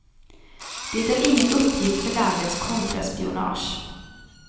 Det är ingen uppgift för landets kontraspionage.